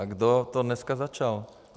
A kdo to dneska začal?